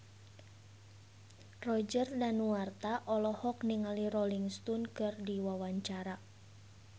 Roger Danuarta olohok ningali Rolling Stone keur diwawancara